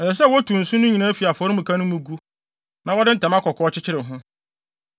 “Ɛsɛ sɛ wotu nsõ no nyinaa fi afɔremuka no mu gu, na wɔde ntama kɔkɔɔ kyekyere ho.